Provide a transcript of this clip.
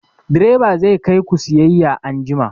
Direba zai kai ku sayayya anjima!